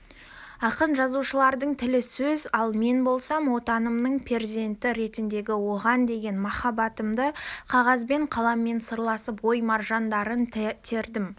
ақын-жазушылардың тілі сөз ал мен болсам отанымның перзенті ретіндегі оған деген махаббатымды қағазбен қаламмен сырласып ой маржандарын тердім